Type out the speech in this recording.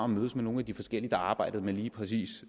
mødtes med nogle af de forskellige der arbejder med lige præcis